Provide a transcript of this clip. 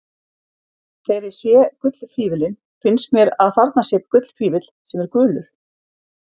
Þegar ég sé gullfífillinn finnst mér að þarna sé gullfífill sem er gulur.